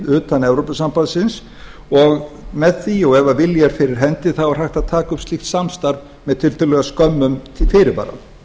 utan evrópusambandsins og með því og ef vilji er fyrir hendi er hægt að taka upp slíkt samstarf með tiltölulega skömmum fyrirvara